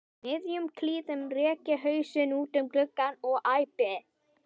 miðjum klíðum rek ég hausinn út um gluggann og æpi